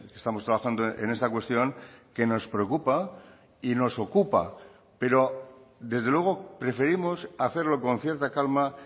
estamos trabajando en esta cuestión que nos preocupa y nos ocupa pero desde luego preferimos hacerlo con cierta calma